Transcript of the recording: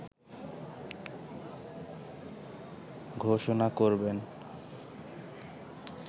ঘোষণা করবেন